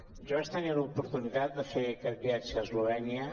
jo vaig tenir l’oportunitat de fer aquest viatge a eslovè·nia